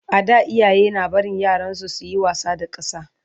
a da iyaye na barin yaransu suyi wasa da ƙasa